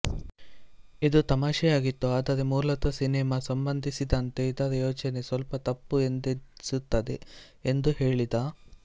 ಇದು ತಮಾಶೆಯಾಗಿತ್ತು ಆದರೆ ಮೂಲತಃ ಸಿನೆಮಾ ಸಂಬಂಧಿಸಿದಂತೆ ಇದರ ಯೋಚನೆ ಸ್ವಲ್ಪ ತಪ್ಪು ಎಂದೆನಿಸುತ್ತದೆ ಎಂದು ಹೇಳಿದ